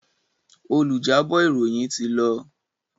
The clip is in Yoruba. Olùjábọ̀ ìròyìn ti lọ.